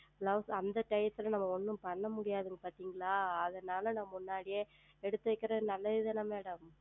Blouse அந்த Time ல நம்ம ஒன்றும் செய்ய முடியாதீர்கள் பார்த்தீர்களா அதுனால் முன்கூட்டியே எடுத்து வைப்பது நல்லது தானே Madam